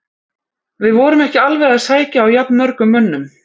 Við vorum ekki alveg að sækja á jafnmörgum mönnum.